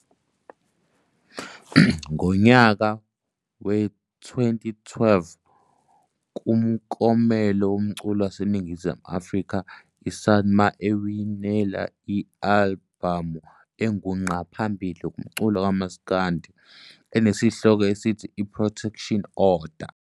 Ngonyaka we-2012 kuMklomelo woMculo waseNingzimu Afrika "SAMA" ewinela i-alibhamu engu ngqa phambili kumculo kwaMaskandi, enesihloko esithi "I-Protection Order".